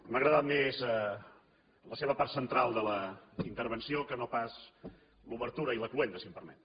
m’ha agradat més la seva part central de la intervenció que no pas l’obertura i la cloenda si m’ho permet